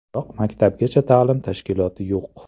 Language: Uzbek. Biroq maktabgacha ta’lim tashkiloti yo‘q.